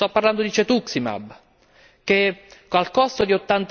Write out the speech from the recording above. Sto parlando di Cetuximab che, al costo di